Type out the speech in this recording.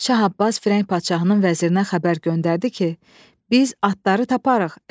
Şah Abbas Firəng padşahının vəzirinə xəbər göndərdi ki, biz atları taparıq.